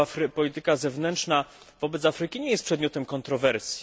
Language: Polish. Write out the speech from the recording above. Polityka zewnętrzna wobec Afryki nie jest przedmiotem kontrowersji.